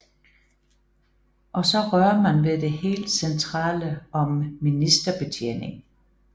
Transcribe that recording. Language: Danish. Og så rører man ved det helt centrale om ministerbetjening